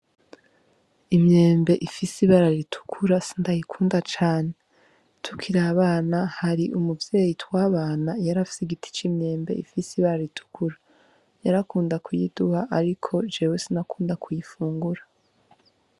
Imyembe ifise ibara ritukura sindayikunda cane. Tukiri abana hari umuvyeyi twabana yari afise igiti c'imyembe ifise ibara ritukura. Yarakunda kuyiduha ariko jewe sinakunda kuyifungura.